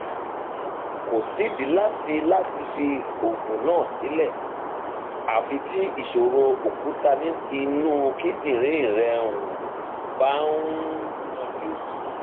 kò sídìí láti láti fi oògùn náà sílẹ àfi tí ìṣòro òkúta inú kíndìnrín rẹ um bá um yanjú